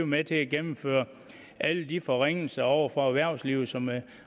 med til at gennemføre alle de forringelser over for erhvervslivet som